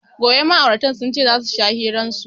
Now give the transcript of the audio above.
Gobe ma'auratan sunce zasu sha hiran su